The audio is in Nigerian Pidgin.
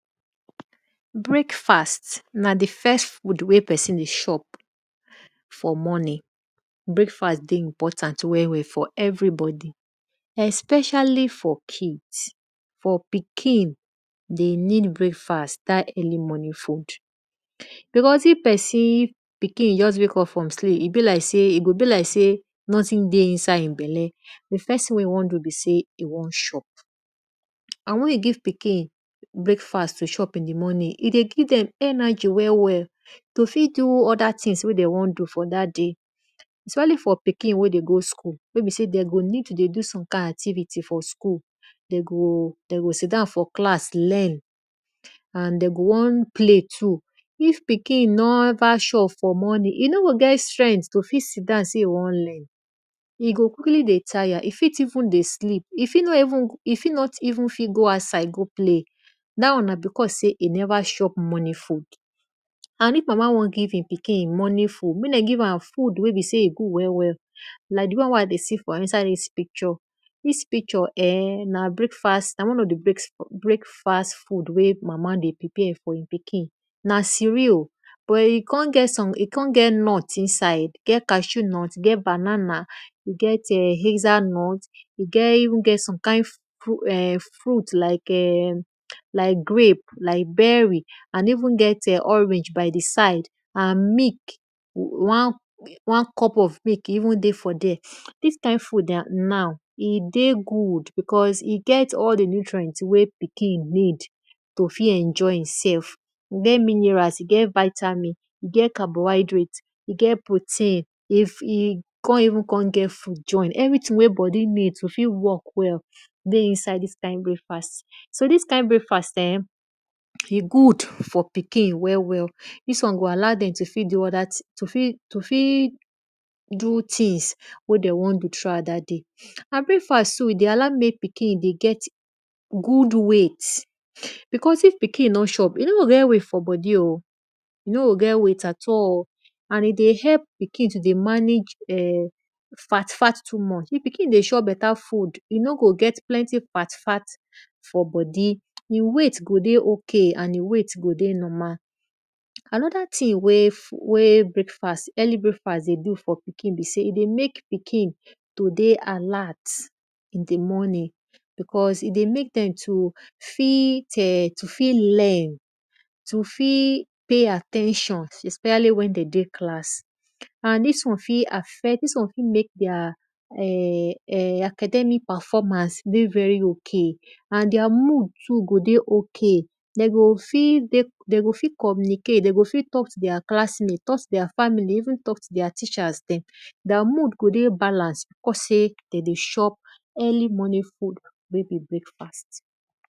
Breakfast na di first food wey pesin dey chop for morning, breaksfast dey important for everybodi especially for kids, for pikin, de need breakfast dat early morning food beasue if pesin pikin just wake up from sleep e go be like sey nothing dey inside e belle, di first thing wey e won do be sey, e won chop and wen you give pikinbreakfast to chop early in di morning, e go fit give dem energy to fit do other things wey de won do for dat day especially for poikin wey dey go school wey be sey de go need to do some kind activity for school, de go sit down for class learn and de go won play too. If pikin neva chop for morning, e no go get strength to sey e won learn, e fit even dey sleep, e fit even fit gooutside go play da won na because sey e neva chop morning food and if mama won give pikin morning food, mek dem give am foo wey be sey e good well well like di won wey I dey see for inside dis picture. Dis picture na one of di break fast food wey mama dey prepare for e pikin na cerasl but e kon get nut inside, get cashew nut, get banana, e get[um]evn get som kind fruit like[um]like grape, like berry and even get[um]orange by di side and milk, one cup of milk e even dey for thre. Dis kind food now e dey good because e get all di nutrient wey pikin need to fit enjoy e self, e get minerals, get vitamin, e get protein e kon even get food join everything wey bodi need to fit work well, de inside dis breakfast. So dis kind breakfast good for pikin well well, dis won go allow dem to fit do other thing, to fit do things wey de won do throughout dat day. Breakfast too de allow pikin dey get god weight because if pikiin nor chop, e nor go get weight at all and e dey help pikin to dey manage fat fat too much. If pikin dey chop beta food, e no go get fat fat for bodi, e weight go dey ok and e weight go dey normal. Anoda thing wey early breakfast dey do for pikin be sey e dey mek pikin to dey alert in di morning because e dey mek dem to fit learn, to fit pay at ten tion especially wen de dey class and ds won fit affect dis won fit mek their academic performance dey very ok and their mood too tgo dey ok, de go fit communicqate, de go fit talk to thweir class mate, talk to their family even talk to their teachers dem, their mood go dey balance because sey de dey chop early morning food wey be breakfast.